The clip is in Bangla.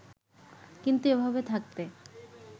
কিন্তু এভাবে থাকতে